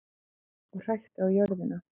Og hrækti á jörðina.